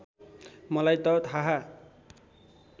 मलाई त थाहा